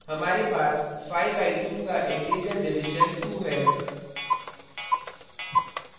हमारे पास 5 by 2 का integer division 2 है